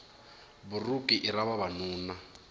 buruku i ra vavanuna